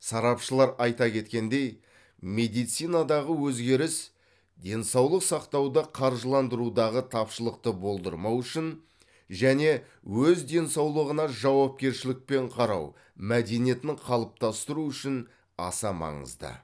сарапшылар айта кеткендей медицинадағы өзгеріс денсаулық сақтауды қаржыландырудағы тапшылықты болдырмау үшін және өз денсаулығына жауапкершілікпен қарау мәдениетін қалыптастыру үшін аса маңызды